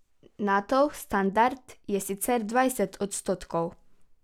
Natov standard je sicer dvajset odstotkov.